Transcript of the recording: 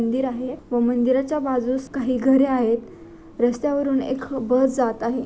मंदिर आहे व मंदिराच्या बाजूस काही घरे आहेत रस्त्यावरून एक बस जात आहे.